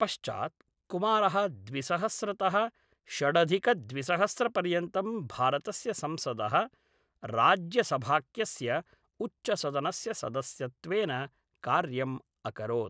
पश्चात् कुमारः द्विसहस्रतः षडधिकद्विसहस्रपर्यन्तं भारतस्य संसदः राज्यसभाख्यस्य उच्चसदनस्य सदस्यत्वेन कार्यम् अकरोत्।